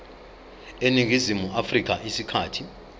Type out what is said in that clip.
eningizimu afrika isikhathi